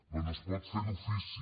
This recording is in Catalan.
doncs es pot fer d’ofici